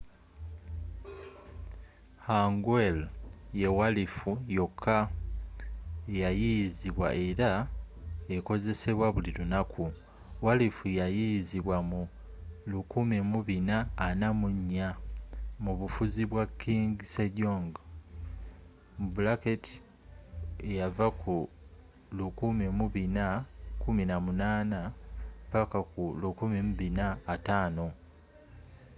hangeul ye walifu yokka eya yiiyizibwa era ekozesebwa buli lunaku. walifu ya yiiyizibwa mu 1444 mu bufuzi bwa king sejong 1418 -1450